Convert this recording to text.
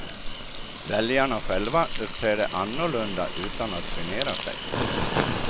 Väljarna själva uppträder annorlunda utan att genera sig.